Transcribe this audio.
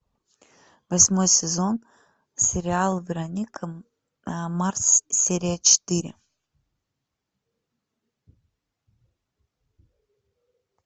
восьмой сезон сериал вероника марс серия четыре